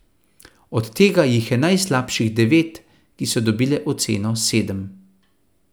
Od tega jih je najslabših devet, ki so dobile oceno sedem.